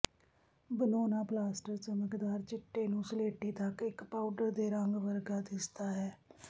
ਬਣਾਉਣਾ ਪਲਾਸਟਰ ਚਮਕਦਾਰ ਚਿੱਟੇ ਨੂੰ ਸਲੇਟੀ ਤੱਕ ਇੱਕ ਪਾਊਡਰ ਦੇ ਰੰਗ ਵਰਗਾ ਦਿਸਦਾ ਹੈ